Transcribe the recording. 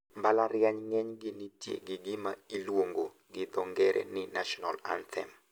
Mbalariany ng`enygi nitie gi gima iluongo gi dho ngere ni national anthem.